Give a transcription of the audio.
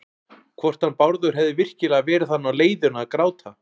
Hvort hann Bárður hefði virkilega verið þarna á leiðinu að gráta.